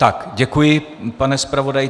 Tak děkuji, pane zpravodaji.